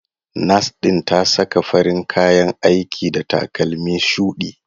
Nas ɗin ta saka farin kayan aiki da takalmi shudi.